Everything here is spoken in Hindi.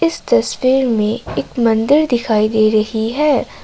इस तस्वीर में एक मंदिर दिखाई दे रही है।